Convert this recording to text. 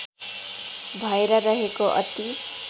भएर रहेको अति